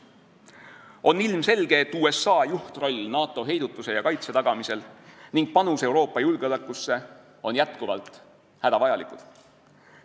On ilmselge, et USA juhtroll NATO heidutuse ja kaitse tagamisel ning panus Euroopa julgeolekusse on jätkuvalt hädavajalikud.